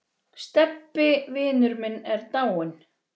Stebbi vinur minn er dáinn.